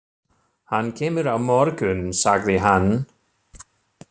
Hann kemur á morgun, sagði hann.